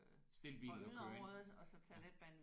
Stil bilen og kør ind